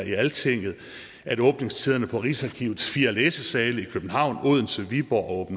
i altinget at åbningstiderne på rigsarkivets fire læsesale i københavn odense viborg og